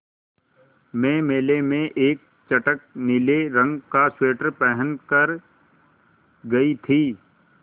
मैं मेले में एक चटख नीले रंग का स्वेटर पहन कर गयी थी